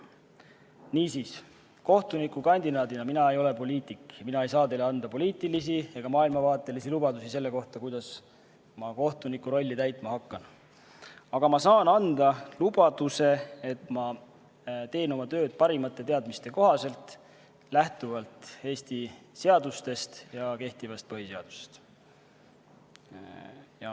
Niisiis, kohtunikukandidaadina – mina ei ole poliitik – ei saa ma teile anda poliitilisi ega maailmavaatelisi lubadusi selle kohta, kuidas ma kohtuniku rolli täitma hakkan, küll aga saan ma anda lubaduse, et teen oma tööd parimate teadmiste kohaselt lähtuvalt Eesti seadustest ja kehtivast põhiseadusest.